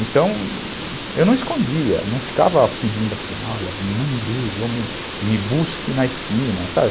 Então, eu não escondia, não ficava pedindo assim, olha, não me ligue, me me busque na esquina, sabe?